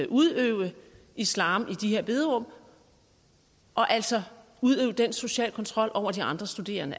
udøve islam i de her bederum og altså udøve den sociale kontrol over de andre studerende